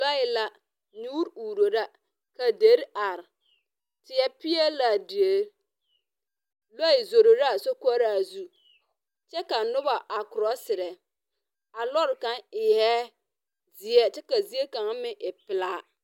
Lɔɛ la nyoore uuro la ka deri are, teɛ peɛle laa deri. Lɔɛ zoro la a sokoɔraa zu, kyɛ ka noba a korɔserɛ, a lɔre kaŋ eɛ zeɛ kyɛ ka zie kaŋa meŋ e pelaa.